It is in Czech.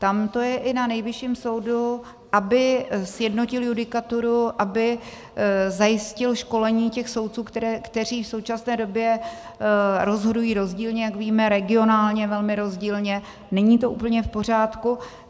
Tam to je i na Nejvyšším soudu, aby sjednotil judikaturu, aby zajistil školení těch soudců, kteří v současné době rozhodují rozdílně, jak víme, regionálně velmi rozdílně, není to úplně v pořádku.